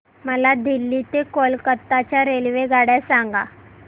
मला दिल्ली ते कोलकता च्या रेल्वेगाड्या सांगा